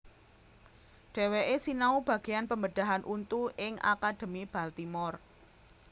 Dheweke sinau bageyan pembedahan untu ing Akademi Baltimore